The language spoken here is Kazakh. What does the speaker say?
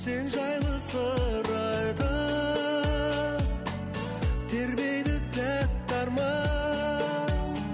сен жайлы сыр айтып тербейді тәтті арман